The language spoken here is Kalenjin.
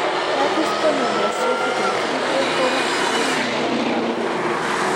Lattice corneal dystrophy type 3A ko atepet ne mopo muroap kony'ek.